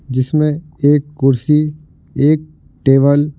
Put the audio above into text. जिसमें एक कुर्सी एक टेबल --